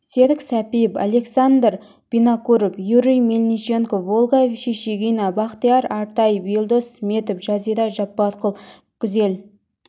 серік сәпиев александр винокуров юрий мельниченков ольга шишигина бақтияр артаев елдос сметов жазира жаппарқұл гүзел